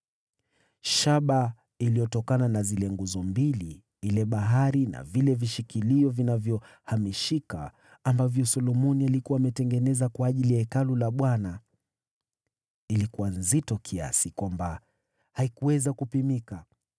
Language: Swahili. Shaba iliyotokana na zile nguzo mbili, ile Bahari na vile vishikilio vilivyohamishika, ambavyo Solomoni alikuwa ametengeneza kwa ajili ya Hekalu la Bwana , ilikuwa na uzito usioweza kupimika.